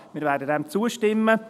Wir werden ihm zustimmen.